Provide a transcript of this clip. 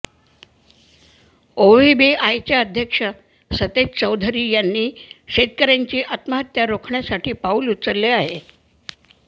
ओव्हीबीआयचे अध्यक्ष सतेज चौधरी यांनी शेतकऱ्यांची आत्महत्या रोखण्यसाठी पाऊल उचलले आहे